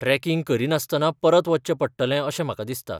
Tracking करिनासतना परत वचचें पडटलें अशें म्हाका दिसता.